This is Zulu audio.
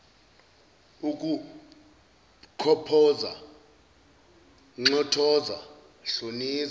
ukukhophoza nxothoza hloniza